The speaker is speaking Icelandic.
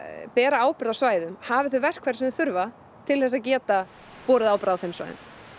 bera ábyrgð á svæðum hafi þau verkfæri sem þau þurfa til að geta borið ábyrgð á þeim svæðum